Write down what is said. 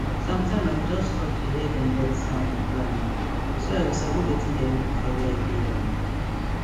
sometime i go just stop to hear dem bird sound um so i go sabi wetin dey happen for where i dey um